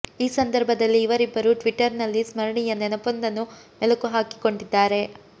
ಈ ಸಂದರ್ಭದಲ್ಲಿ ಇವರಿಬ್ಬರೂ ಟ್ವಿಟರ್ ನಲ್ಲಿ ಸ್ಮರಣೀಯ ನೆನಪೊಂದನ್ನು ಮೆಲುಕು ಹಾಕಿಕೊಂಡಿದ್ದಾರೆ